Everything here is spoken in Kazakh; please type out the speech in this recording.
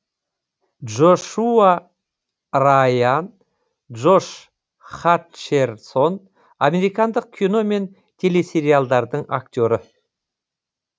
джо шуа ра йан джош ха тчерсон американдық кино мен телесериалдардың актері